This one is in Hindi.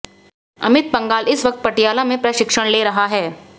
अमित पंघाल इस वक्त पटियाला में प्रशिक्षण ले रहा है